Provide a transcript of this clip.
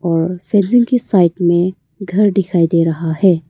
और के साइड में घर दिखाई दे रहा है।